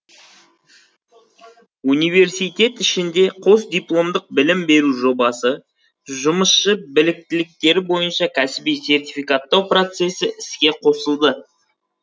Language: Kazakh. университет ішінде қосдипломдық білім беру жобасы жұмысшы біліктіліктері бойынша кәсіби сертификаттау процесі іске қосылды